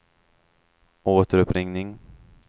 återuppringning